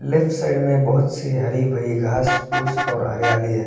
Left side में बहोत से हरी-भरी घास-फूस और हरियाली है।